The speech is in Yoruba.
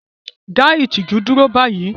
Dá ìtìjú dúró báyìí!